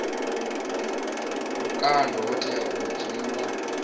vhukando ho tea u dzhiiwa